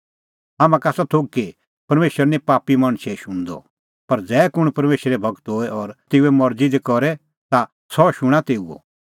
हाम्हां का आसा थोघ कि परमेशर निं पापी मणछे शुणदअ पर ज़ै कुंण परमेशरो भगत होए और तेऊए मरज़ी दी करे ता सह शूणां तेऊओ